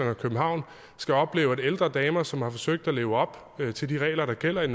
og københavn skal opleve at ældre damer som har forsøgt at leve op til de regler der gælder i